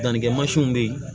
Dannikɛ bɛ yen